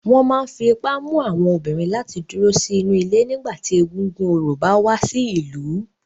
Wọn máa ń fi ipá mú àwọn obìnrin láti dúró sínú ilé nígbà tí egúngún orò bá wá sí ìlú.